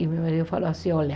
E meu marido falou assim, olha...